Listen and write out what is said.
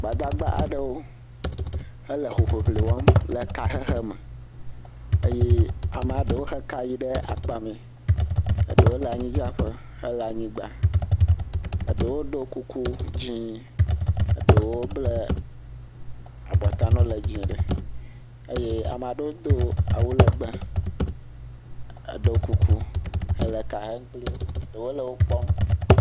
Gbadagba aɖewo, wole hoŋiŋli wɔm le kahehe me. Eye ama ɖewo he ka yi ɖe akpamɛ. Eɖewo le amnyidzeƒe hele anyigba. Eɖewo do kuku dzɛ̃. Eɖewo blɛ abɔta na wo le dzɛ̃ ɖe. Eye ama ɖewo do awu lɛgbɛ eɖɔ kuku hele ka hem kpli wo. Ɖewo le wo kpɔm.